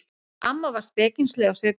Amma var spekingsleg á svipinn.